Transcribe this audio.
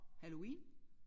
Halloween